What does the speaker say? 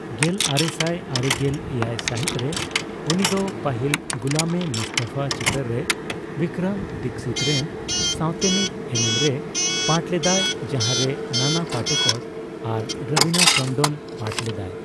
ᱜᱮᱞ ᱟᱨᱮᱥᱟᱭ ᱟᱨᱮᱜᱮᱞ ᱮᱭᱟᱭ ᱥᱟᱹᱦᱤᱛᱨᱮ, ᱩᱱᱤ ᱫᱚ ᱯᱟᱹᱦᱤᱞ ᱜᱩᱞᱟᱢᱼᱤᱼᱢᱩᱥᱛᱟᱯᱷᱟ ᱪᱤᱛᱟᱹᱨ ᱨᱮ ᱵᱤᱠᱨᱚᱢ ᱫᱤᱠᱠᱷᱤᱛ ᱨᱮᱱ ᱥᱟᱣᱛᱮᱱᱤᱡ ᱮᱱᱮᱢᱨᱮᱭ ᱯᱟᱴᱷ ᱞᱮᱫᱟᱭ, ᱡᱟᱦᱟᱸᱨᱮ ᱱᱟᱱ ᱯᱟᱴᱮᱠᱚᱨ ᱟᱨ ᱨᱚᱵᱤᱱᱟ ᱴᱮᱱᱰᱚᱱᱮ ᱯᱟᱴᱷ ᱞᱮᱫᱟᱭ ᱾